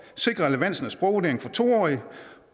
sikrer relevansen af sprogvurdering af to årige